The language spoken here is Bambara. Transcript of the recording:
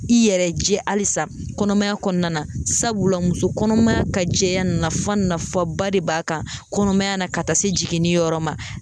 I yɛrɛ jɛ halisa kɔnɔmaya kɔnɔna na, sabula muso kɔnɔmaya ka jɛya nafaba de b'a kan kɔnɔmaya na ka taa se jiginni yɔrɔ ma.